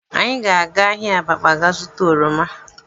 Anyị ga-aga ahịa Abakpa gaa zụta oroma